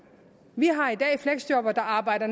vi har i dag fleksjobbere der arbejder